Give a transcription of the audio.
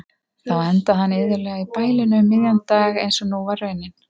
Þá endaði hann iðulega í bælinu um miðjan dag einsog nú var raunin.